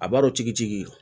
A b'a dɔn tigitigi ye